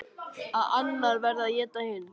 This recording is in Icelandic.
Að annað verði að éta hitt.